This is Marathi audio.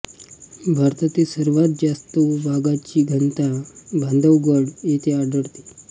भारतातील सर्वात जास्त वाघांची घनता बांधवगढ येथे आढळते